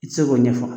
I tɛ se k'o ɲɛfɔ